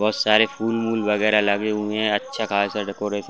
बहुत सारे फूल उल वगैरह लगे हुए हैं अच्छा खासा डेकोरेशन --